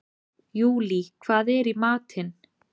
Júlí, hvað er í matinn?